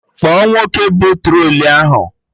Kpọọ nwoke bụ trọlị ahụ!